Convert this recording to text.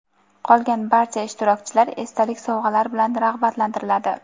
Qolgan barcha ishtirokchilar esdalik sovg‘alar bilan rag‘batlantiriladi.